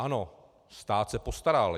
Ano, stát se postaral.